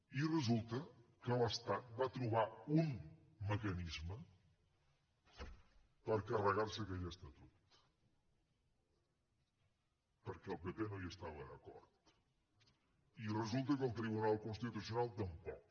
i resulta que l’estat va trobar un mecanisme per carregar se aquell estatut perquè el pp no hi estava d’acord i resulta que el tribunal constitucional tampoc